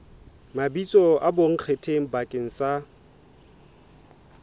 mabitso a bonkgetheng bakeng sa